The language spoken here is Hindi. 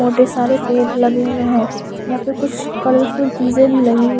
मोटे सारे पेड़ लगे हुए हैं यहां पे कुछ कलरफुल चीजें भी लगी हुई है।